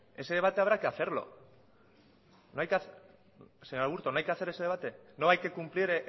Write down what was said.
ese debate habrá que hacerlo señor aburto no hay que hacer ese debate no hay que cumplir